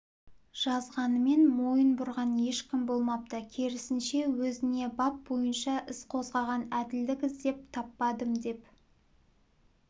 жазғанымен мойын бұрған ешкім болмапты керісінше өзіне бап бойынша іс қозғаған әділдік іздеп таппадым деп